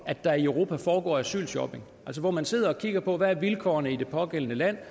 at der i europa foregår asylshopping altså man sidder og kigger på hvad vilkårene er i det pågældende land